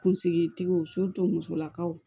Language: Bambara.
Kunsigi tigiw musolakaw